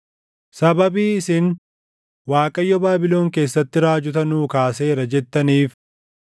Sababii isin, “ Waaqayyo Baabilon keessatti raajota nuu kaaseera” jettaniif